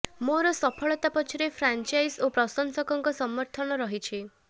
ମୋର ସଫଳତା ପଛରେ ଫ୍ରାଞ୍ଚାଇଜ ଓ ପ୍ରଶଂସକଙ୍କ ସମର୍ଥନ ରହିଛି